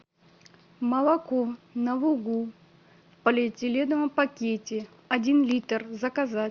молоко на лугу в полиэтиленовом пакете один литр заказать